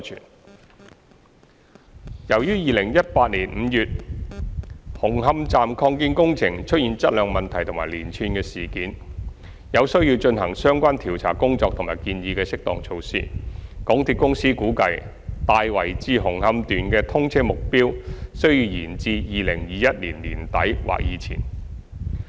三由於2018年5月紅磡站擴建工程出現質量問題及連串事件，有需要進行相關調查工作及建議的適當措施，港鐵公司估計"大圍至紅磡段"的通車目標需延至2021年年底或之前。